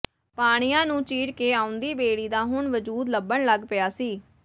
ਪਾਣੀਆਂ ਨੂੰ ਚੀਰ ਕੇ ਆਉਂਦੀ ਬੇੜੀ ਦਾ ਹੁਣ ਵਜੂਦ ਲੱਭਣ ਲੱਗ ਪਿਆ ਸੀ